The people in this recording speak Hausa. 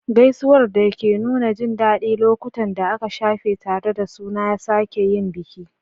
Gaisuwar da ke nuna jin daɗin lokutan da aka shafe tare suna sake yin biki.